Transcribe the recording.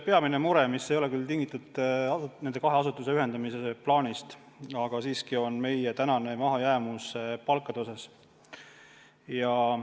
Peamine mure, mis ei ole küll tingitud nende kahe asutuse ühendamise plaanist, on meie mahajäämus palkade osas.